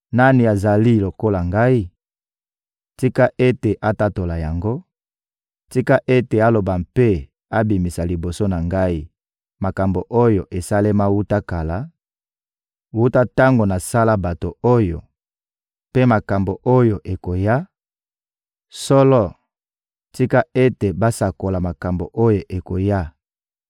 Nani azali lokola Ngai? Tika ete atatola yango; tika ete aloba mpe abimisa liboso na Ngai makambo oyo esalema wuta kala, wuta tango nasala bato oyo, mpe makambo oyo ekoya! Solo, tika ete basakola makambo oyo ekoya!